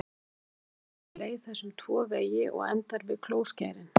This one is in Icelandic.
Frá kirtlunum liggur leið þess um tvo vegi og endar við klóskærin.